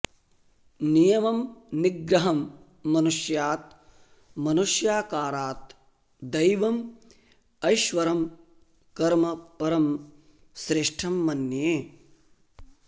नियमं निग्रहं मनुष्यात् मनुष्याकारात् दैवं ऐश्वरं कर्म परं श्रेष्ठं मन्ये